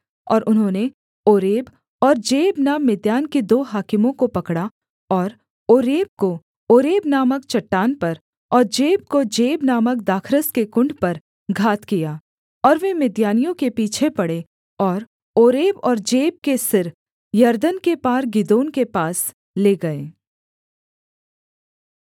और उन्होंने ओरेब और जेब नाम मिद्यान के दो हाकिमों को पकड़ा और ओरेब को ओरेब नामक चट्टान पर और जेब को जेब नामक दाखरस के कुण्ड पर घात किया और वे मिद्यानियों के पीछे पड़े और ओरेब और जेब के सिर यरदन के पार गिदोन के पास ले गए